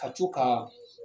Ka co ka